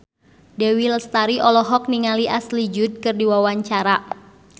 Dewi Lestari olohok ningali Ashley Judd keur diwawancara